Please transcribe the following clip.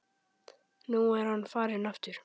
Nú er hann farinn aftur